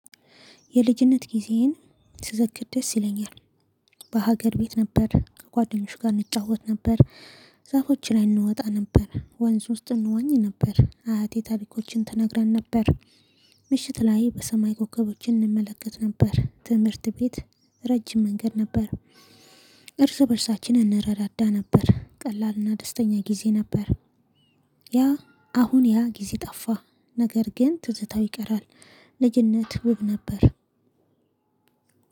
የልጅነት ጊዜዬን ስዘክር ደስ ይለኛል። በሀገር ቤት ነበር። ከጓደኞች ጋር እንጫወት ነበር። ዛፎች ላይ እንወጣ ነበር። ወንዝ ውስጥ እንዋኝ ነበር። አያቴ ታሪኮችን ትነግረን ነበር። ምሽት ላይ በሰማይ ኮከቦችን እንመለከት ነበር። ትምህርት ቤት ረጅም መንገድ ነበር። እርስ በእርሳችን እንረዳዳ ነበር። ቀላልና ደስተኛ ጊዜ ነበር። ያ አሁን ያ ጊዜ ጠፋ። ነገር ግን ትዝታው ይቀራል። ልጅነት ውብ ነበር።